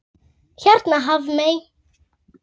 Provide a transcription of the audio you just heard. Hérna Hafmey.